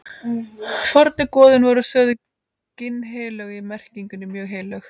Fornu goðin voru sögð ginnheilög í merkingunni mjög heilög.